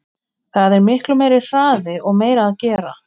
Það er miklu meiri hraði og meira að gera.